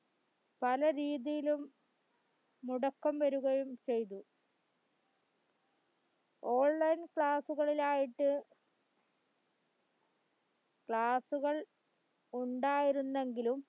പല രീതിയിലും മുടക്കം വരികയും ചെയ്തു online class ഉകളിലായിട്ട് class ഉകൾ ഉണ്ടായിരുന്നെങ്കിലും